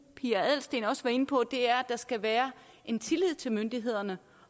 pia adelsteen også inde på er at der skal være en tillid til myndighederne